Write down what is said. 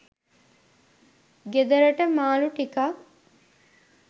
ගෙදරට මාළු ටිකක්